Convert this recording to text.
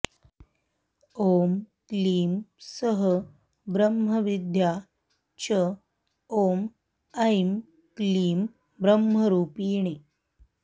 ॐ क्लीं सः ब्रह्मविद्या च ॐ ऐं क्लीं ब्रह्मरूपिणी